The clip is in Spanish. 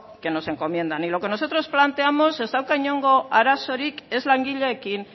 que nos encomiendan y lo que nosotros planteamos ez dauka inongo arazorik ez langileekin